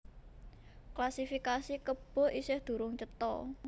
Klasifikasi kebo isih durung cetha